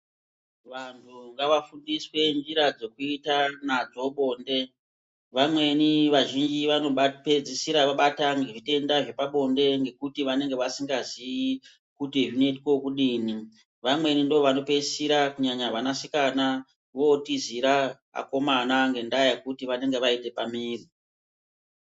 Vantu ngavafundiswe njira dzekuita nadzo bonde. Vamweni vazhinji vanopedzisira vabatwa ngezvitenda zvepabonde ngekuti vanenge vasingazii kuti zvinoitwe vekudini. Vamweni ndivo vanotoisira kunyanya vana sikana votizira akomana ngendaa yekuti vanenge vaita pamwiri.